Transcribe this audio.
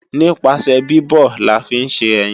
Nípasẹ̀ bíbọ̀ la fi ń ṣe ẹyin